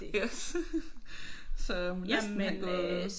Yes så hun må næsten have gået på samme tid